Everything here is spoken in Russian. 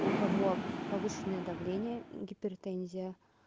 у кого повышенное давление гипертензия